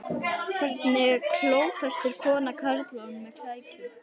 Hvernig klófestir kona karlmann með klækjum?